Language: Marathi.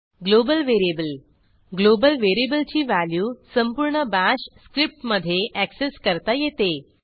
ग्लोबल व्हेरिएबलः ग्लोबल व्हेरिएबलची व्हॅल्यू संपूर्ण बाश स्क्रिप्टमधे ऍक्सेस करता येते